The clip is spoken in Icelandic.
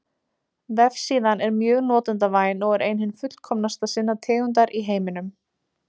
Vefsíðan er mjög notendavæn og er ein hin fullkomnasta sinnar tegundar í heiminum.